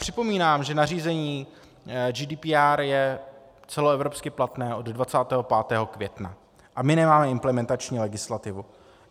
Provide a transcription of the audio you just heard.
Připomínám, že nařízení GDPR je celoevropsky platné od 25. května a my nemáme implementační legislativu.